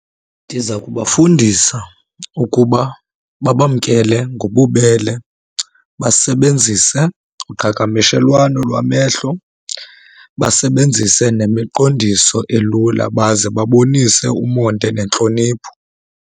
Ndiza kubafundisa ukuba babamkele ngobubele, basebenzise uqhagamshelwano lwamehlo, basebenzise nemiqondiso elula baze babonise umonde nentlonipho.